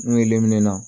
N'u ye lenmin na